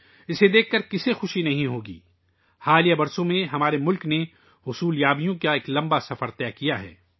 یہ دیکھ کر کون خوش نہیں ہوگا؟ حالیہ برسوں میں ہمارے ملک نے کامیابیوں کا ایک طویل سفر طے کیا ہے